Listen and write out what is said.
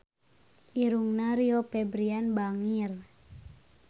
Irungna Rio Febrian bangir